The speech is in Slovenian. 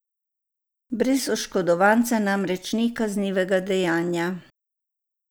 Brez oškodovanca namreč ni kaznivega dejanja.